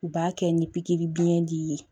U b'a kɛ ni pikiri biyɛn di ye